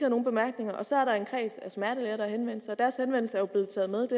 nogen bemærkninger og så er der en kreds af smertelæger der har henvendt sig og deres henvendelse er jo blevet taget med